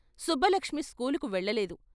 సుబ్బలక్ష్మి స్కూలుకు వెళ్ళలేదు.